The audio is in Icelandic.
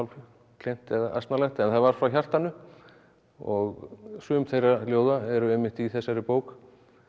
klént eða asnalegt en það var frá hjartanu og sum þeirra ljóða eru einmitt í þessari bók